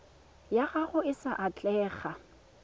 ya gago e sa atlega